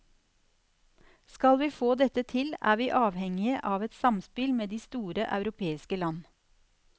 Skal vi få dette til, er vi avhengige av et samspill med de store europeiske land.